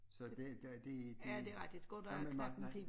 Så det der det det nej men